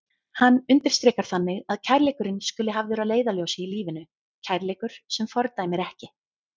Hann undirstrikar þannig að kærleikurinn skuli hafður að leiðarljósi í lífinu, kærleikur sem fordæmir ekki.